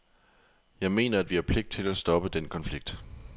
Jeg mener, at vi har pligt til at stoppe den konflikt.